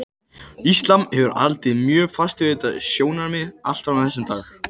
Íslam hefur haldið mjög fast við þetta sjónarmið allt fram á þennan dag.